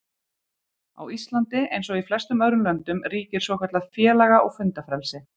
Á Íslandi, eins og í flestum öðrum löndum, ríkir svokallað félaga- og fundafrelsi.